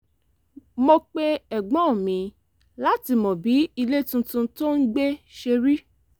mo pe ẹ̀gbọ́n mi láti mọ bí ilé tuntun tó ń gbé ṣe rí